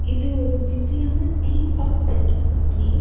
இது ஒரு பிஸியான தீம் பார்க் செட்டப் ஒட பிளேஸ் .